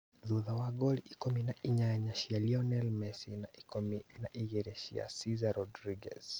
Thutha wa ngolu ikũmi na inyanya cia Lionel Messi na ikũmi na igĩrĩ cia Cesar Rodriguez